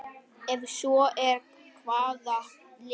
Ef svo er, hvaða lið?